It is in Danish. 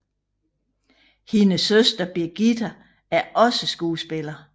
Hendes søster Brigitta er også skuespiller